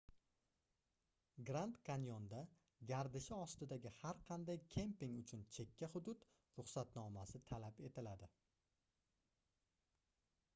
grand kanyonda gardishi ostidagi har qanday kemping uchun chekka hudud ruxsatnomasi talab etiladi